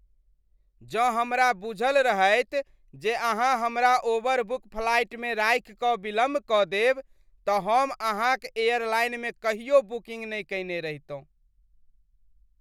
जँ हमरा बुझल रहैत जे अहाँ हमरा ओवरबुक फ्लाइटमे राखि कऽ विलम्ब कऽ देब तँ हम अहाँक एयरलाइनमे कहियो बुकिंग नहि कयने रहितहुँ।